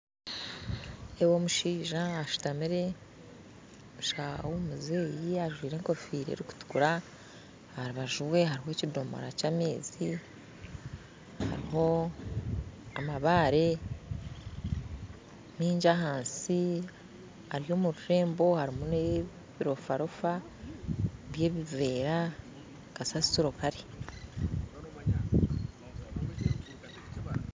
Nindeeba omushaija ashutamire omushaija w'omuzeeyi ajwaire enkofiira erukutukura aharubaju rwe hariho ekidomora ky'amaizi hariho amabaare maingi ahansi ari omururembo harimu n'ebirofarofa byebiveera kasasiro kare.